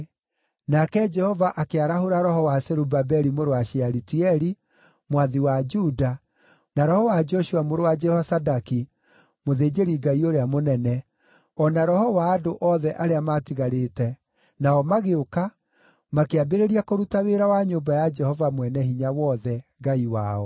Nake Jehova akĩarahũra roho wa Zerubabeli mũrũ wa Shealitieli, mwathi wa Juda, na roho wa Joshua mũrũ wa Jehozadaki, mũthĩnjĩri-Ngai ũrĩa mũnene, o na roho wa andũ othe arĩa maatigarĩte, nao magĩũka, makĩambĩrĩria kũruta wĩra wa nyũmba ya Jehova Mwene-Hinya-Wothe, Ngai wao.